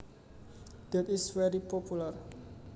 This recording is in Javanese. that is very popular